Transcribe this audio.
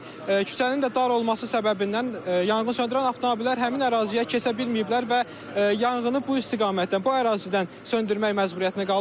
küçənin də dar olması səbəbindən yanğın söndürən avtomobillər həmin əraziyə keçə bilməyiblər və yanğını bu istiqamətdən, bu ərazidən söndürmək məcburiyyətinə qalıblar.